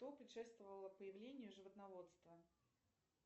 что предшествовало появлению животноводства